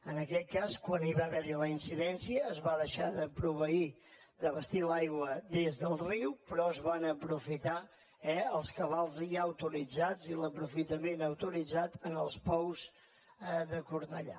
en aquest cas quan hi va haver la incidència es va deixar de proveir d’abastir l’aigua des del riu però es van aprofitar els cabals ja autoritzats i l’aprofitament autoritzat en els pous de cornellà